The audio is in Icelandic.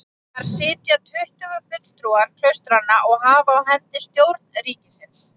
Þar sitja tuttugu fulltrúar klaustranna og hafa á hendi stjórn ríkisins.